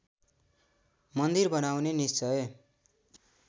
मन्दिर बनाउने निश्‍चय